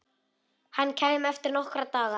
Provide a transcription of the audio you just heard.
Hann kæmi eftir nokkra daga.